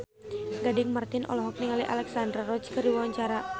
Gading Marten olohok ningali Alexandra Roach keur diwawancara